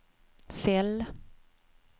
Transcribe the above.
cell